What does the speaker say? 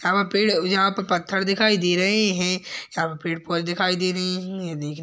यहाँ पे पेड़ यहाँ पे पत्थर दिखाई दे रहे हैं यहाँ पे पेड़ पौधे दिखाई दे रहे हैं। ये देखने --